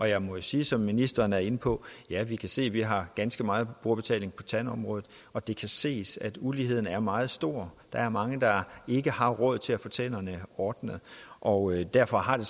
jeg må jo sige som ministeren var inde på at ja vi kan se vi har ganske meget brugerbetaling på tandområdet og det kan ses at uligheden er meget stor der er mange der ikke har råd til at få tænderne ordnet og derfor har det